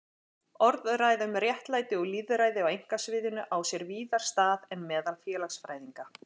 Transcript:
Orðræða um réttlæti og lýðræði á einkasviðinu á sér víðar stað en meðal félagsfræðinga.